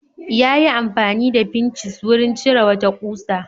Yayi amfani da fincis wurin cire wata ƙusa.